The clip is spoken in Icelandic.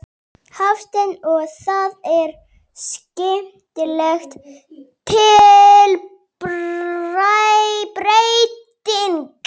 Hafsteinn: Og það er skemmtileg tilbreyting?